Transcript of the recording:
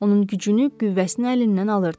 onun gücünü, qüvvəsini əlindən alırdı.